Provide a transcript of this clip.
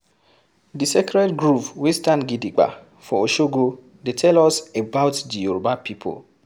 Di sacred Groove wey stand gidigba for Oshogo dey tell us about the Yoruba pipo